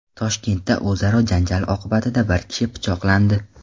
Toshkentda o‘zaro janjal oqibatida bir kishi pichoqlandi.